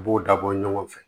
U b'o dabɔ ɲɔgɔn fɛ